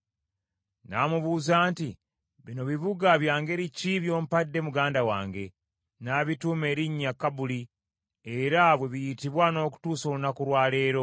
N’amubuuza nti, “Bino bibuga bya ngeri ki by’ompadde muganda wange?” N’abituuma erinnya Kabuli, era bwe biyitibwa n’okutuusa olunaku lwa leero.